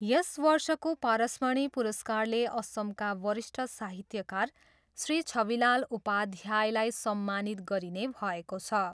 यस वर्षको पारसमणि पुरस्कारले असमका वरिष्ठ साहित्यकार श्री छविलाल उपाध्यायलाई सम्मानित गरिने भएको छ।